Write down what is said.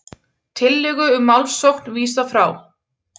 Tillögu um málssókn vísað frá